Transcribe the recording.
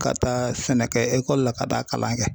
Ka taa sɛnɛ kɛ ekɔli la ka taa kalan kɛ